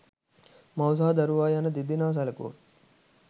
මව සහ දරුවා යන දෙදෙනා සැලකුවහොත්